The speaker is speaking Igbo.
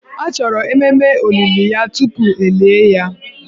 A chọrọ ememe olili ya tupu e lie ya